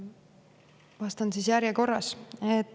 Ja vastan siis järjekorras.